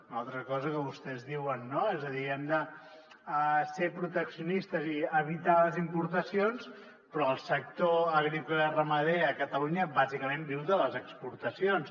una altra cosa que vostès diuen no és a dir hem de ser protecci·onistes i evitar les importacions però el sector agrícola i ramader a catalunya bàsi·cament viu de les exportacions